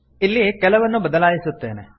ಇಲ್ಲಿ ಕೆಲವನ್ನು ಬದಲಾಯಿಸುತ್ತೇನೆ